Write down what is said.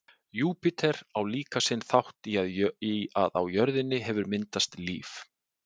Júpíter á líka sinn þátt í að á jörðinni hefur myndast líf.